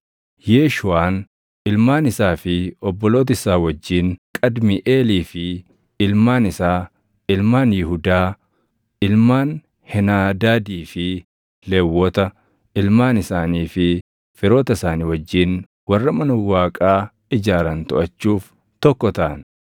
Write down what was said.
Yeeshuuʼaan ilmaan isaa fi obboloota isaa wajjin, Qadmiiʼeelii fi ilmaan isaa, ilmaan Yihuudaa, ilmaan Heenaadaadii fi Lewwota, ilmaan isaanii fi firoota isaanii wajjin warra mana Waaqaa ijaaran toʼachuuf tokko taʼan.